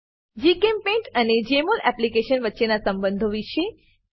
જીચેમ્પેઇન્ટ અને જમોલ એપ્લિકેશન વચ્ચેના સંબંધો વિષે